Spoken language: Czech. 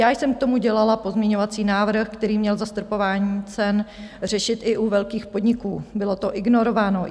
Já jsem k tomu dělala pozměňovací návrh, který měl zastropování cen řešit i u velkých podniků, bylo to ignorováno.